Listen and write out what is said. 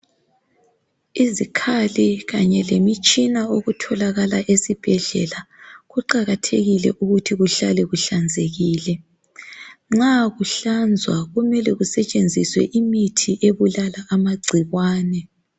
Izikhali kanye lemitshina okutholakala esibhedlela kuqakathekile ukuthi kuhlale kuhlanzekile. Nxa kuhlanzwa kumele kusetshenziswe imithi ebulala amagcikwane.